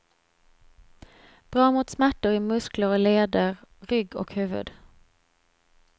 Bra mot smärtor i muskler och leder, rygg och huvud.